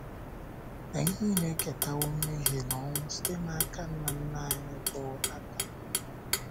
Anyị nile eketawo mmehie na ọnwụ site n’aka nna nna anyị bụ́ um Adam.